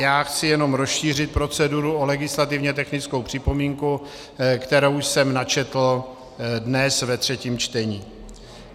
Já chci jenom rozšířit proceduru o legislativně technickou připomínku, kterou jsem načetl dnes ve třetím čtení.